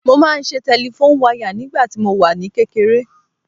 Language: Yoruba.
Mo máa ń ṣe tẹlifón wayà nígbàtí mo wà ní kékeré